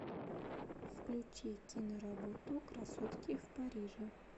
включи киноработу красотки в париже